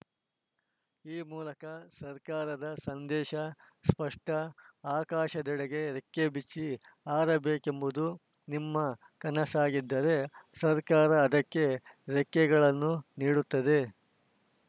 ಈ ಮೂಲಕ ಸರ್ಕಾರದ ಸಂದೇಶ ಸ್ಪಷ್ಟ ಆಕಾಶದೆಡೆಗೆ ರೆಕ್ಕೆ ಬಿಚ್ಚಿ ಹಾರಬೇಕೆಂಬುದು ನಿಮ್ಮ ಕನಸಾಗಿದ್ದರೆ ಸರ್ಕಾರ ಅದಕ್ಕೆ ರೆಕ್ಕೆಗಳನ್ನು ನೀಡುತ್ತದೆ